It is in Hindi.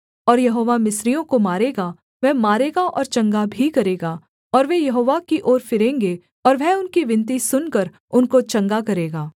और यहोवा मिस्रियों को मारेगा वह मारेगा और चंगा भी करेगा और वे यहोवा की ओर फिरेंगे और वह उनकी विनती सुनकर उनको चंगा करेगा